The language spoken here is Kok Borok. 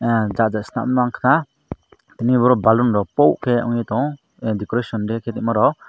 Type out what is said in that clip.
ahh chaja stam unkhana tini obo balloon rok po ke ungui tongo decoration de ke omo rok.